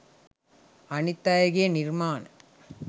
අනිත් අයගේ නිර්මාණ